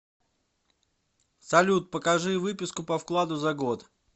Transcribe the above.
салют покажи выписку по вкладу за год